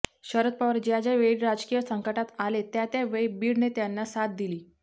शरद पवार ज्या ज्या वेळी राजकीय संकटात आले त्या त्या वेळी बीडने त्यांना साथ दिली